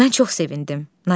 Mən çox sevindim.